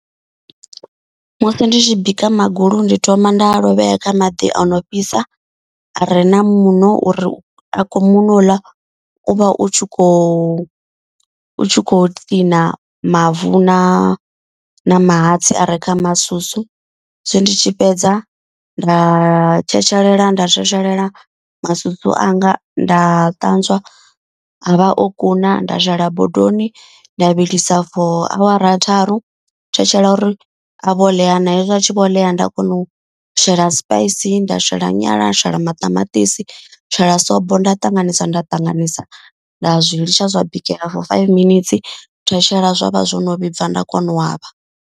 Musi ndi tshi bika magulu ndi thoma nda lovhea kha maḓi ono fhisa are na muṋo uri a khou muṋo uḽa u vha u tshi kho u tshi kho kiḽina mavu na na mahatsi a re kha masusu. Hezwi ndi tshi fhedza nda tshetshelela nda tshetshelela masusu anga nda ṱanzwa a vha o kuna. Nda shela bodoni nda vhilisa for awara tharu thetshela uri a vho ḽea na. Hezwi a tshi vho ḽea nda kona u shela sipaisi nda shela nyala wa shela maṱamaṱisi shela sobo. Nda ṱanganisa nda ṱanganisa nda zwi litsha zwa bikela for five minetse nda thetshela zwavha zwo no vhibva nda kona u avha.